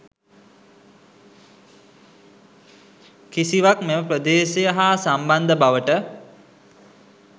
කිසිවක් මෙම ප්‍රදේශය හා සම්බන්ධ බවට